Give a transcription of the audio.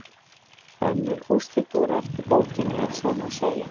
Önnur úrslit voru eftir bókinni ef svo má segja.